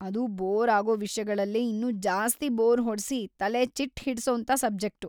ಅದು ಬೋರ್‌ ಆಗೋ ವಿಷ್ಯಗಳಲ್ಲೇ ಇನ್ನೂ ಜಾಸ್ತಿ ಬೋರ್‌ ಹೊಡ್ಸಿ ತಲೆ ಚಿಟ್ಟ್‌ ಹಿಡ್ಸೋಂಥ ಸಬ್ಜೆಕ್ಟು.